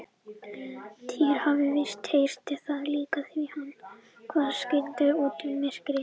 Týri hafði víst heyrt það líka því hann hvarf skyndilega út í myrkrið.